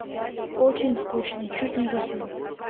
очень скучный чуть не заснул